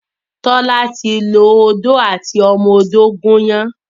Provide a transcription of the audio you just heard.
Tola ti lọ Odó àti ọmọ odó gún iyán.